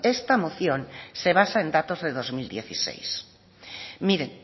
esta moción se basa en datos de dos mil dieciséis miren